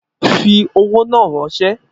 Fi owó náà ránsẹ́!